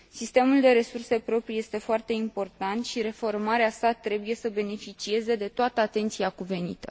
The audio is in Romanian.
Sistemul de resurse proprii este foarte important și reformarea sa trebuie să beneficieze de toată atenția cuvenită.